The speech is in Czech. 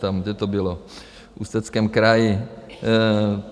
Tam, kde to bylo, v Ústeckém kraji.